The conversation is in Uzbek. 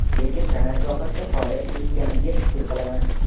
Lekin san’at sohasida faoliyat yuritganimga shukur qilaman.